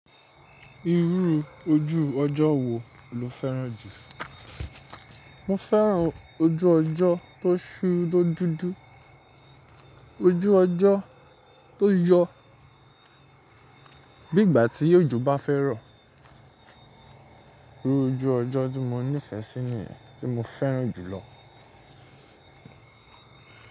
Irú ojú ọjọ́ wo lo fẹ́ràn jù? Mo fẹ́ràn ojú ọjọ́ tó ṣú tó dúdú. Ojú ọjọ́ tó yọ. Bí ìgbà tí ọjọ bá fẹ́ rọ̀. Irú ojú ọjọ́ tí mo nífẹ̀ẹ́ sí nìyẹn tí mo fẹ́ràn jù lọ.